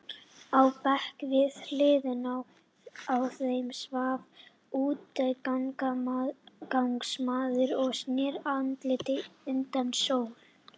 Á bekk við hliðina á þeim svaf útigangsmaður og sneri andliti undan sól.